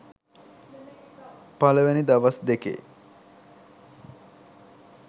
පලවෙනි දවස් දෙකේ